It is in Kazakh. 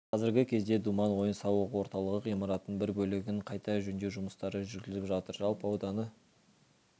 қазіргі кезде думан ойын-сауық орталығы ғимаратының бір бөлігін қайта жөндеу жұмыстары жүргізіліп жатыр жалпы ауданы